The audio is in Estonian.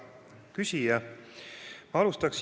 Hea küsija!